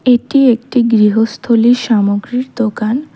এটি একটি গৃহস্থলীর সামগ্রীর দোকান।